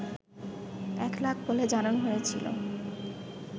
একলাখ বলে জানানো হয়েছিল